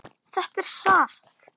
Þetta er satt!